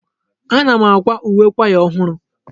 Ana m akwa uwe kwaya ọhụrụ.